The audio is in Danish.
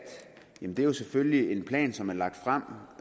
er jo selvfølgelig en plan som er lagt frem